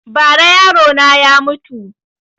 Ba ra yaro na ya mutu